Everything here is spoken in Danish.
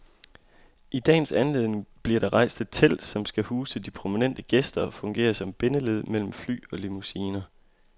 I dagens anledning bliver der rejst et telt, som skal huse de prominente gæster og fungere som bindeled mellem fly og limousiner.